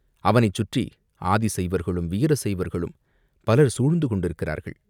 அவனைச் சுற்றி ஆதி சைவர்களும், வீர சைவர்களும் பலர் சூழ்ந்து கொண்டிருக்கிறார்கள்.